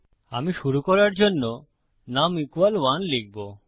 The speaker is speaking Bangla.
আমি শুরু করার জন্য নুম 1 লিখবো